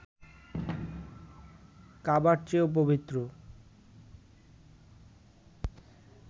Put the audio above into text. কাবার চেয়েও পবিত্র